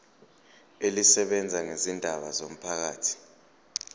elisebenza ngezindaba zomphakathi